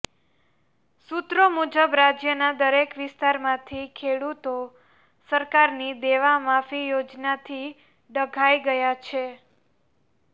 સૂત્રો મુજબ રાજ્યના દરેક વિસ્તારમાંથી ખેડૂતો સરકારની દેવા માફી યોજનાથી ડઘાઇ ગયા છે